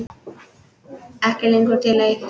Ekki lengur en til eitt.